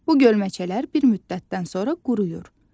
Bu gölməçələr bir müddətdən sonra quruyur.